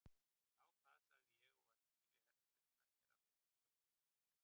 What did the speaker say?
Þá það, sagði ég og var í bili heldur upp með mér af lífsháskanum.